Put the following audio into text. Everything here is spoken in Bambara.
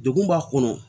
Degun b'a kɔnɔ